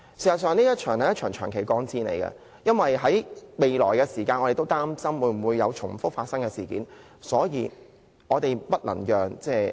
事實上，這將會是一場長期抗戰，因為我們都擔心將來會否再次發生類似的事件。